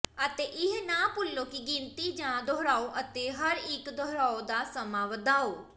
ਅਤੇ ਇਹ ਨਾ ਭੁੱਲੋ ਕਿ ਗਿਣਤੀ ਜਾਂ ਦੁਹਰਾਓ ਅਤੇ ਹਰ ਇਕ ਦੁਹਰਾਉਣ ਦਾ ਸਮਾਂ ਵਧਾਓ